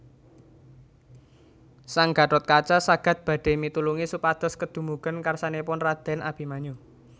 Sang Gathotkaca sagad badhé mitulungi supados kedumugen karsanipun radèn Abimanyu